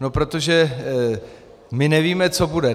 No protože my nevíme, co bude.